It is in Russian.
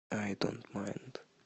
ай донт майнд